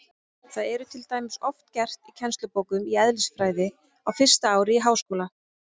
Það er til dæmis oft gert í kennslubókum í eðlisfræði á fyrsta ári í háskóla.